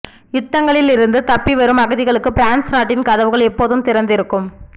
யுத்தங்களிலிருந்து தப்பி வரும் அகதிகளுக்கு பிரான்ஸ் நாட்டின் கதவுகள் எப்போதும் திறந்திருக்கும்